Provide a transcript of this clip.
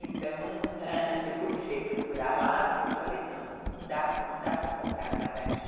Então, ãh, eu comecei a procurar lá, depois eu falei, não, não dá não dá para eu comprar nada aqui.